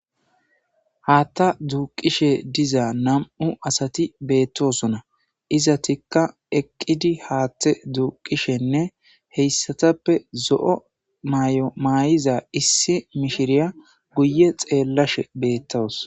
hatta duqishe diza nam'u asati bettossona izatikka eqqidi haatte duqishshenne heyssatappe zo'o mayo mayiza issi mishshiriya guye xeellashshe bettwus